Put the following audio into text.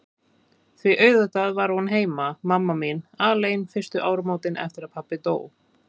Því auðvitað var hún heima, mamma mín, alein fyrstu áramótin eftir að pabbi dó.